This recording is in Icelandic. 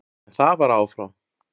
En það var af og frá.